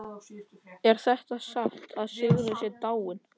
Er það satt að Sigrún sé dáin?